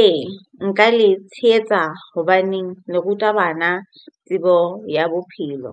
Ee, nka le tshehetsa hobaneng le ruta bana tsebo ya bophelo